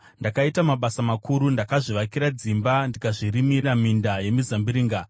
Ndakaita mabasa makuru; ndakazvivakira dzimba ndikazvirimira minda yemizambiringa.